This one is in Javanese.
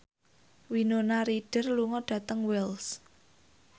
Winona Ryder lunga dhateng Wells